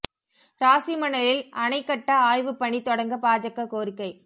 ராசிமணலில் அணை கட்ட ஆய்வுப் பணி தொடங்க பாஜக கோரிக்கை